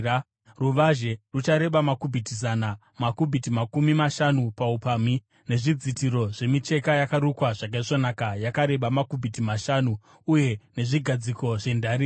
Ruvazhe ruchareba makubhiti zana uye makubhiti makumi mashanu paupamhi, nezvidzitiro zvemicheka yakarukwa zvakaisvonaka yakareba makubhiti mashanu , uye nezvigadziko zvendarira.